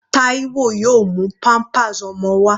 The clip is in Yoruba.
Taiwo yóò mú pampers ọmọ wá.